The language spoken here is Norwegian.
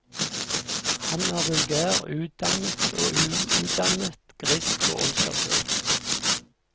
Han er vulgær, udannet og uutdannet, grisk og ondskapsfull.